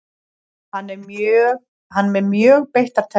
Hann er með mjög beittar tennur.